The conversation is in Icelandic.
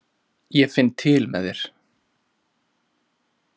Ég finn til með þér.